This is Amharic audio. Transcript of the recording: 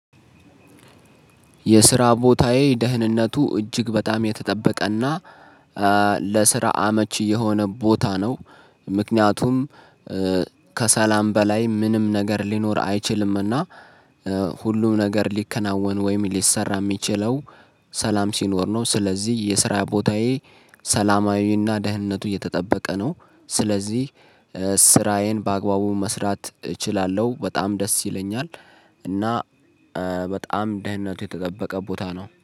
የስራ ቦታዬ ደህንነቱ እጅግ በጣም የተጠበቀና ለስራ አመች የሆነ ቦታ ነው። ምክንያቱም ከሰላም በላይ ምንም ነገር ሊኖር አይችልምና። ሁሉም ነገር ሊከናወን ወይም ሊሰራ የሚችለው ሰላም ሲኖር ነው። ስለዚህ የስራ ቦታዬ ሰላማዊና ደህንነቱ እየተጠበቀ ነው። ስለዚህ ስራዬን በአግባቡ መስራት እችላለሁ በጣም ደስ ይለኛል። እና በጣም ደህንነቱ የተጠበቀ ቦታ ነው